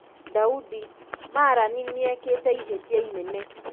Daudi: Marani nĩĩkĩte ihĩtia inene.